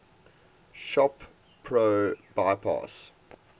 shop pro bypass